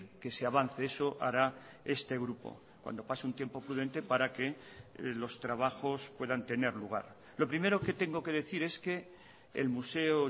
que se avance eso hará este grupo cuando pase un tiempo prudente para que los trabajos puedan tener lugar lo primero que tengo que decir es que el museo